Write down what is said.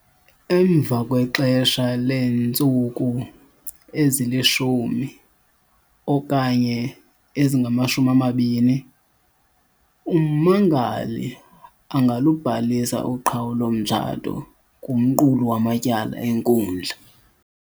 Emva kwexesha leentsuku ezi-10 okanye ezingama-20, ummangali angalubhalisa uqhawulo-mtshato kumqulu wamatyala enkundla.